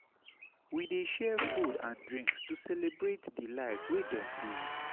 We dey share food and drinks to celebrate di life wey dem live.